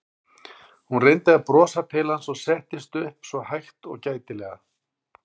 Hún reyndi að brosa til hans og settist svo upp hægt og gætilega.